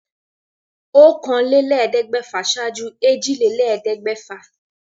Ọ̀kànléléèẹ́dẹ́gbẹ̀fà ṣaájú èjìlélẹ́ẹ̀ẹ́dẹ́. gbẹ̀fà